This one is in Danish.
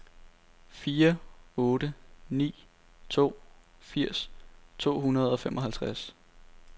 fire otte ni to firs to hundrede og femoghalvtreds